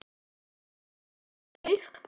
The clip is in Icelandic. Hvert fór lítið lauf?